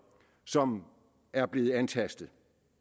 som er blevet antastet